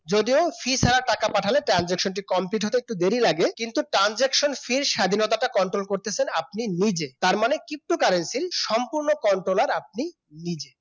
যদিও fee ছাড়া টাকা পাঠালে transaction টি complete হতে একটু দেরী লাগে কিন্তু transactionfee স্বাধীনতাটা control করতেছেন আপনি নিজে তার মানে ptocurrency সম্পন্ন control আর আপনি নিজে